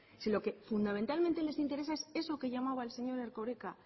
si lo que fundamentalmente les interesa es eso que llamaba el señor erkoreka